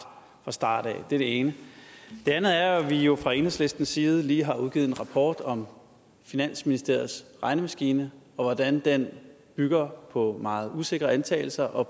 fra starten af det er det ene det andet er at vi jo fra enhedslistens side lige har udgivet en rapport om finansministeriets regnemaskine og hvordan den bygger på meget usikre antagelser og